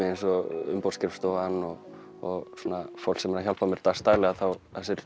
eins og umboðsskrifstofan og fólk sem er að hjálpa mér dags daglega þá